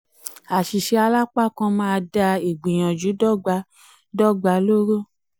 àṣìṣe alápákan máa dá ìgbìyànjù dó̩gba dó̩gba lóró.